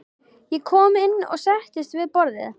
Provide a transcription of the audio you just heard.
Ég kom inn og settist við borðið.